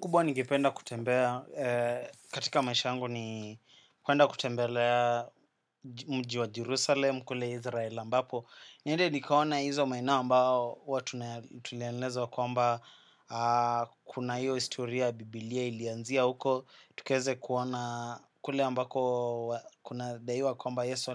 Kubwa ningependa kutembea, katika maisha yangu ni kwenda kutembelea mji wa Jerusalem, kule Israel ambapo. Niende nikaona hizo maeneo ambao huwa tulielezwa kwamba kuna hiyo historia ya bibilia ilianzia huko. Tukaeze kuona kule ambako kuna daiwa kwamba Yesu